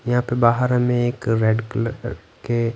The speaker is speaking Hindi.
यहां पे बाहर हमें एक रेड कलर के--